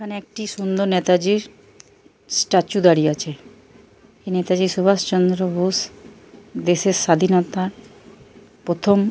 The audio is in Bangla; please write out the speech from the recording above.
এখানে একটি সুন্দর নেতাজির স্ট্যাচু দাঁড়িয়ে আছে। নেতাজি সুভাষ চন্দ্র বোস দেশের স্বাধীনতা প্রথম।